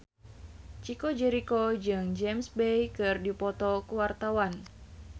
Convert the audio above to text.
Chico Jericho jeung James Bay keur dipoto ku wartawan